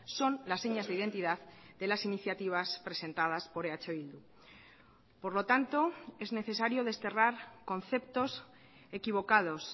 son las señas de identidad de las iniciativas presentadas por eh bildu por lo tanto es necesario desterrar conceptos equivocados